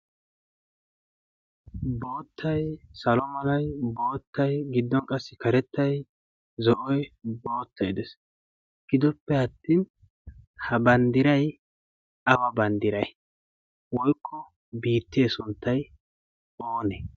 boottai salomonai boottai giddon qassi karettai zo7oi boottai dees gidoppe attin ha banddirai aba banddirai woykko biittee sunttai oonee?